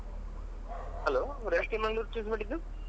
Hello ಯಾಕೆ Mangalore choose ಮಾಡಿದ್ದು?